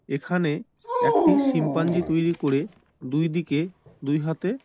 এখানে একটি শিম্পাঞ্জি তৈরি করে দুই দিকে দুই হাতে--